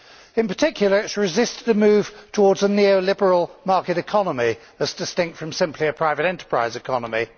In particular it has resisted the move towards a neo liberal market economy as distinct from simply a private enterprise economy.